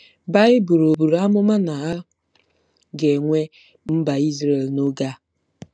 Baịbụl ọ̀ buru amụma na a ga-enwe Mba Izrel nke oge a?